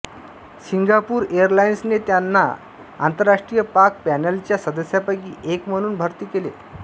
Singapore एअरलाइन्सने त्याला आंतरराष्ट्रीय पाक पॅनेलच्या सदस्यांपैकी एक म्हणून भरती केले